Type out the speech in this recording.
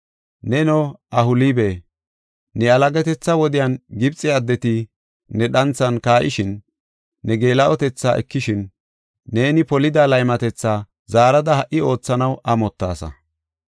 Neno, Ohoolibe, ne yalagatetha wodiyan Gibxe addeti ne dhanthan kaa7ishin, ne geela7otetha ekishin, neeni polida laymatetha zaarada ha77i oothanaw amottaasa.”